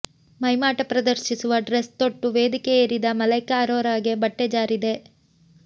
ಮೈಮಾಟ ಪ್ರದರ್ಶಿಸುವ ಡ್ರೆಸ್ ತೊಟ್ಟು ವೇದಿಕೆ ಏರಿದ ಮಲೈಕಾ ಅರೋರಾಗೆ ಬಟ್ಟೆ ಜಾರಿದೆ